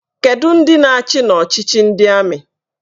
Kedụ ndị na-achị n'ọchịchị ndị amị?